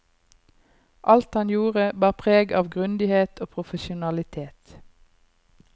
Alt han gjorde, bar preg av grundighet og profesjonalitet.